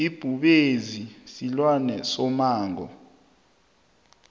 ibhubezi silwane somango